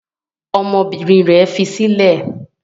Ọmọbìnrin rẹ̀ fi sílẹ̀?